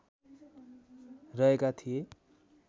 रहेका थिए।